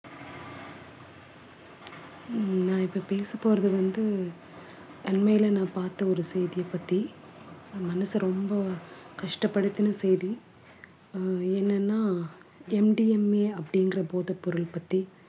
உம் நான் இப்ப பேசப்போறது வந்து அண்மையில நான் பார்த்த ஒரு செய்தியைப் பத்தி மனசு ரொம்ப கஷ்டப்படுத்தின செய்தி அஹ் என்னன்னா MDMA அப்படின்ற போதைப்பொருள் பத்தி